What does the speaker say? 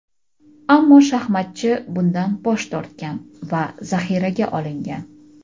Ammo shaxmatchi bundan bosh tortgan va zaxiraga olingan.